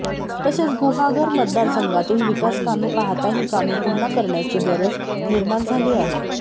तसेच गुहागर मतदारसंघातील विकासकामे पाहता ही कामे पुन्हा करण्याची गरज निर्माण झाली आहे